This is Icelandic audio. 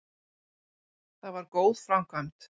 Það var góð framkvæmd.